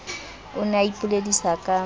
o ne o ipoledisa ka